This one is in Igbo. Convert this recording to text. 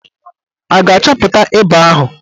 A ga-achọpụta ịba ahụ?